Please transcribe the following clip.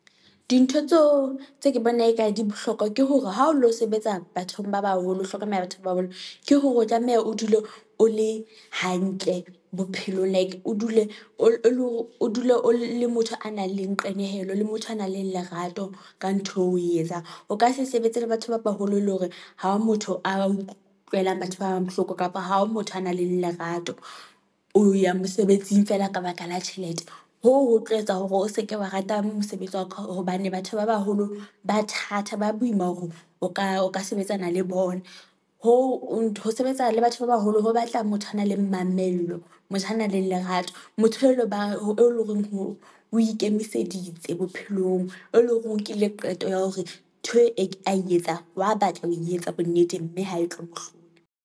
Dintho tseo tse ke bona e ka di bohlokwa ke hore ha o lo sebetsa bathong ba baholo, ho hlokomela batho ba boholo ke hore o tlameha, o dule o le hantle bophelong like o dule o le motho a nang le qenehelo le motho a nang le lerato ka ntho eo o etsang. O ka se sebetse le batho ba baholo, e leng hore ha motho a utlwela batho ba bang bohloko, kapa ha o motho a nang le lerato, o ya mosebetsing feela ka baka la tjhelete. Hoo ho tlo etsa hore o seke wa rata mosebetsi wa ka, hobane batho ba baholo ba thatha ba boima hore o nka o ka sebetsana le bona, ho sebetsa le batho ba baholo, ho batla motho a na le mamello, motho a na le lerato. Motho eo e leng horeng o ikemiseditse bophelong, e leng horeng o nkile qeto ya hore ntho e a etsang, wa a batla ho etsa bonneteng, mme ha e tlo mohlomong.